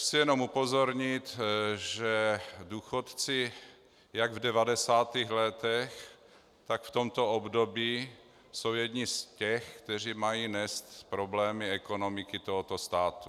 Chci jenom upozornit, že důchodci jak v 90. letech, tak v tomto období jsou jedni z těch, kteří mají nést problémy ekonomiky tohoto státu.